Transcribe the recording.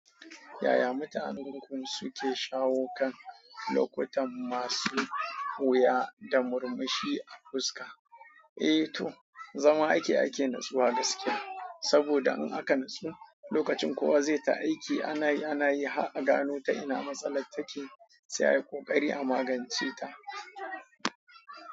Yaya mutanen garin ku suke shawo kan lokutan masu wuya da murmushi a fuska? Eh to, zama ake ake natsuwa gaskiya. Saboda in aka natsu lokacin kowa zai ta aiki ana yi ana yi. Har a gano ta ina matsalan take sai ayi koƙari a magance ta.